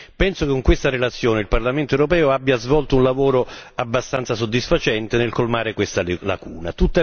Penso che con questa relazione il Parlamento europeo abbia svolto un lavoro abbastanza soddisfacente nel colmare questa lacuna.